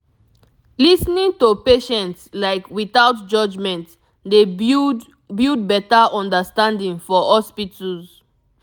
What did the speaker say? lis ten ing to patients like without judgement dey build build better understanding for hospitals